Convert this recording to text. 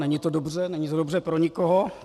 Není to dobře, není to dobře pro nikoho.